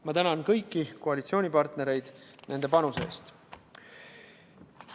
Ma tänan kõiki koalitsioonipartnereid nende panuse eest!